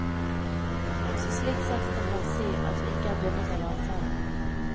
Så slik sett kan man si at vi ikke er bundet av avtalen.